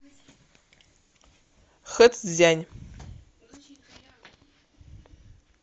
хэцзянь